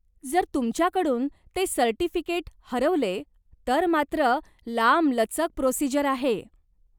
जर तुमच्याकडून ते सर्टिफिकेट हरवले तर मात्र लांबलचक प्रोसिजर आहे.